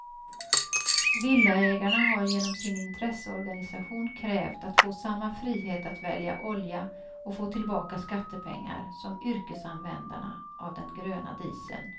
Villaägarna har genom sin intresseorganisation krävt att få samma frihet att välja olja och få tillbaka skattepengar som yrkesanvändarna av den gröna dieseln.